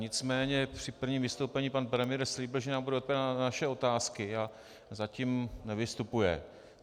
Nicméně při prvním vystoupení pan premiér slíbil, že nám bude odpovídat na naše otázky, a zatím nevystupuje.